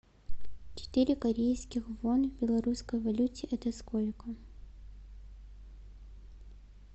четыре корейских вон в белорусской валюте это сколько